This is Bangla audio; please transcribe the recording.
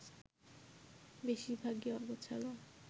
বেশির ভাগই অগোছালো